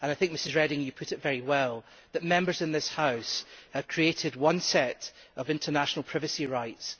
I think Mrs Reding put it very well Members in this House have created one set of international privacy rights.